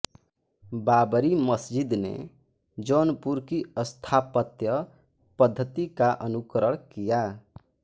बाबरी मस्जिद ने जौनपुर की स्थापत्य पद्धति का अनुकरण किया